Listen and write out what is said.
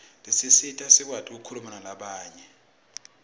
tisisita sikwati kukhuluma nalabanye